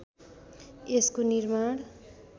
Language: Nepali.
यसको निर्माण